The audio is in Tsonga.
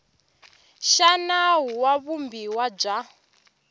xa nawu wa vumbiwa bya